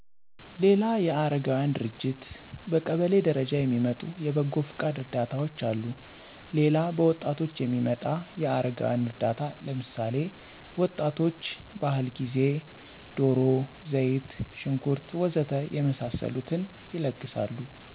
ሌላ የ አረጋውያን ድርጅት፤ በቀሌ ደረጃ የሚመጡ የበጓ ፍቃድ እርዳታዎች አሉ ሌላ በወጣቶች የሚመጣ የ አረጋውያን እርዳታ ለምሳሌ፦ ወጣቶች ባህል ጊዜ ደሮ፣ ዘይት ሽንኩር ወ.ዘ.ተ የመሳስሉትን ይለግሳሉ